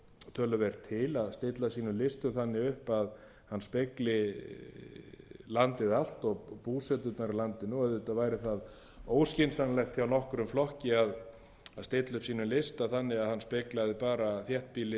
töluvert til að stilla sínum listum upp þannig upp að hann spegli landið allt og búsetuna í landinu og auðvitað væri það óskynsamlegt hjá nokkrum flokki að stilla upp sínum lista þannig að hann speglaði bara þéttbýlið